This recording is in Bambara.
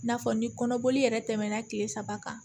N'a fɔ ni kɔnɔboli yɛrɛ tɛmɛna tile saba kan